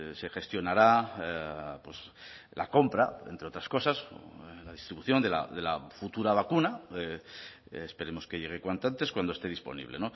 se gestionará la compra entre otras cosas la distribución de la futura vacuna esperemos que llegue cuanto antes cuando esté disponible